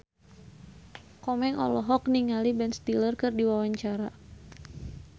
Komeng olohok ningali Ben Stiller keur diwawancara